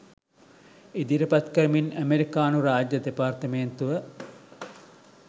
ඉදිරිපත් කරමින් ඇමෙරිකානු රාජ්‍ය දෙපාර්තමේන්තුව